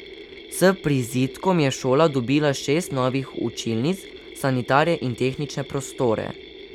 S prizidkom je šola dobila šest novih učilnic, sanitarije in tehnične prostore.